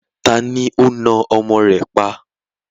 Ta ni ó na ọmọ rẹ̀ pa?